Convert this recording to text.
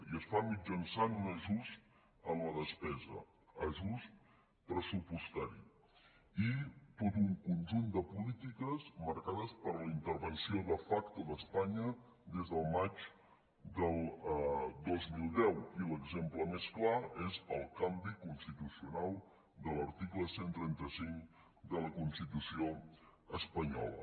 i es fa mitjançant un ajust en la despesa ajust pressupostari i tot un conjunt de polítiques marcades per la intervenció de facto d’espanya des del maig del dos mil deu i l’exemple més clar és el canvi constitucional de l’article cent i trenta cinc de la constitució espanyola